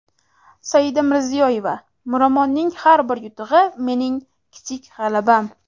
Saida Mirziyoyeva: Miromonning har bir yutug‘i mening kichik g‘alabam.